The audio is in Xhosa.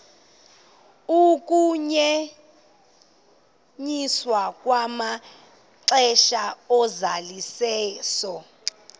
ukunyenyiswa kwamaxesha ozalisekiso